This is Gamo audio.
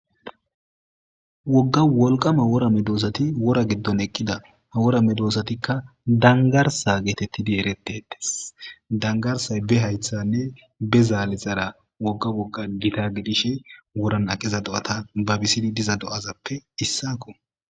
Woga wolqama wora medosat wora gidon eqida ha wora medosatika dangarsa getetid eretetes. Dangarsay be haythenne be zalezara woga woga Gita gidishn woran aqiza do'ata babisid diza do'azappe issako.